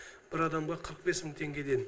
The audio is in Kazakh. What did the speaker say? бір адамға қырық бес мың теңгеден